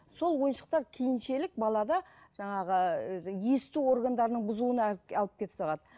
сол ойыншықтар балада жаңағы есту органдарының бұзылуына алып келіп салады